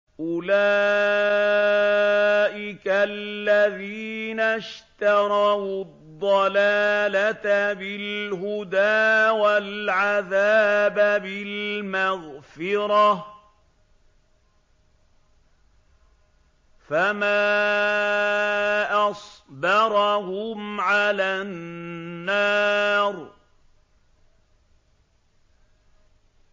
أُولَٰئِكَ الَّذِينَ اشْتَرَوُا الضَّلَالَةَ بِالْهُدَىٰ وَالْعَذَابَ بِالْمَغْفِرَةِ ۚ فَمَا أَصْبَرَهُمْ عَلَى النَّارِ